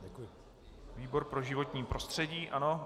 Výbor pro životní prostředí, ano.